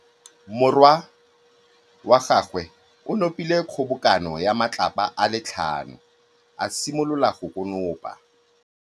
Morwa wa gagwe o nopile kgobokanô ya matlapa a le tlhano, a simolola go konopa.